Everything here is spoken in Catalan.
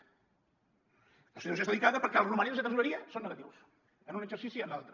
la situació és delicada perquè els romanents de tresoreria són negatius en un exercici i en l’altre